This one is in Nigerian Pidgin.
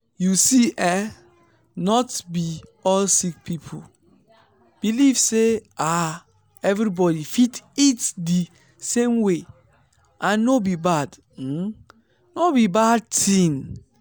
you see eh not be all sick people believe say ah everybody fit eat di same way and no be bad no be bad tin.